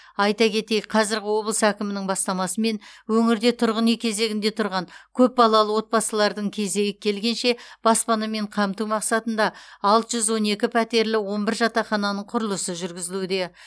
айта кетейік қазіргі облыс әкімінің бастамасымен өңірде тұрғын үй кезегінде тұрған көпбалалы отбасылардың кезегі келгенше баспанамен қамту мақсатында алты жүз он екі пәтерлі он бір жатақхананың құрылысы жүргізілуде